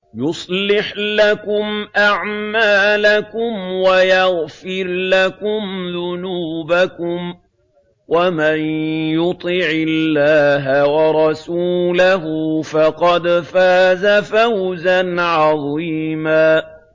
يُصْلِحْ لَكُمْ أَعْمَالَكُمْ وَيَغْفِرْ لَكُمْ ذُنُوبَكُمْ ۗ وَمَن يُطِعِ اللَّهَ وَرَسُولَهُ فَقَدْ فَازَ فَوْزًا عَظِيمًا